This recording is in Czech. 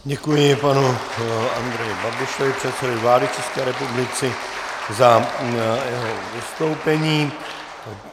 Děkuji panu Andreji Babišovi, předsedovi vlády České republiky, za jeho vystoupení.